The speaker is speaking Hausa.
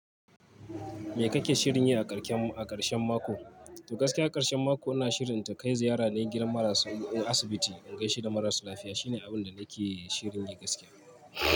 Me kake shirin yi a ƙarshen, a ƙarshen mako? To gaskiya a ƙarshen mako ina shirin ta kai ziyara ne gidan marasa in asibiti in gaishe da marasa lafiya. Shine abin da nake shirin yi gaskiya.